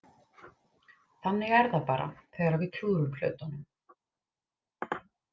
Þannig er það bara þegar við klúðrum hlutunum.